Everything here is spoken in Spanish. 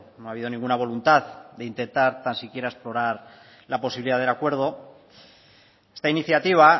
no ha habido ninguna voluntad de intentar tan siquiera explorar la posibilidad del acuerdo esta iniciativa